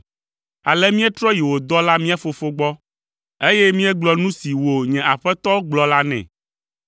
Ale míetrɔ yi wò dɔla mía fofo gbɔ, eye míegblɔ nu si wò nye aƒetɔ gblɔ la nɛ.